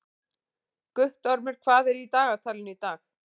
Guttormur, hvað er í dagatalinu í dag?